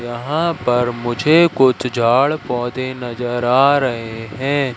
यहां पर मुझे कुछ झाड़ पौधे नजर आ रहे हैं।